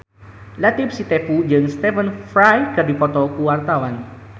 Latief Sitepu jeung Stephen Fry keur dipoto ku wartawan